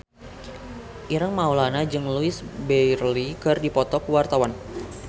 Ireng Maulana jeung Louise Brealey keur dipoto ku wartawan